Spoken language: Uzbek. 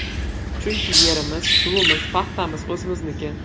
Chunki yerimiz, suvimiz, paxtamiz o‘zimizniki.